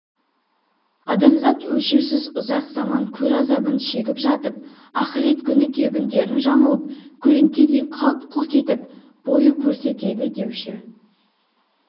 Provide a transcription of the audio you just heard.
адамзат өлшеусіз ұзақ заман көр азабын шегіп жатып ахірет күні кебіндерін жамылып көлеңкедей қалт-құлт етіп бой көрсетеді деуші